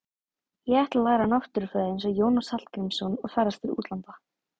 Ég ætla að læra náttúrufræði eins og Jónas Hallgrímsson og ferðast til útlanda.